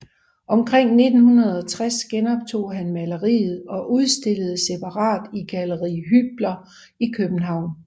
Omkring 1960 genoptog han maleriet og udstillede separat i Galleri Hybler i København